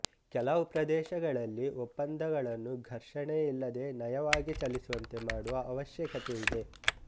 ಕೆಲವು ಪ್ರದೇಶಗಳಲ್ಲಿ ಒಪ್ಪಂದಗಳನ್ನು ಘರ್ಷಣೆಯಿಲ್ಲದೆ ನಯವಾಗಿ ಚಲಿಸುವಂತೆ ಮಾಡುವ ಅವಶ್ಯಕತೆಯಿದೆ